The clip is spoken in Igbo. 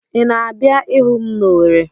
Ị na-abịa ịhụ m n'Ọweri.